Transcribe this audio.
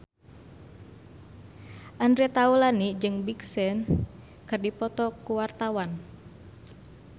Andre Taulany jeung Big Sean keur dipoto ku wartawan